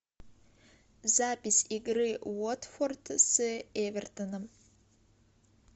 запись игры уотфорд с эвертоном